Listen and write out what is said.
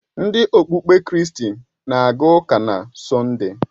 Ndị okpukpe kristi na aga ụka na Sọnde.